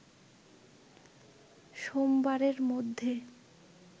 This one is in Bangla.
সোমবারের মধ্যে